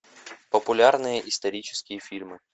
популярные исторические фильмы